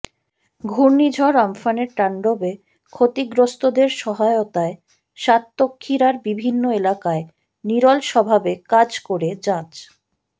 ঘূর্ণিঝড় আম্পানের তাণ্ডবে ক্ষতিগ্রস্তদের সহায়তায় সাতক্ষীরার বিভিন্ন এলাকায় নিরলসভাবে কাজ করে যাচ্